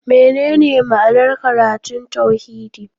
Menene ma'anar karatun tauhidi?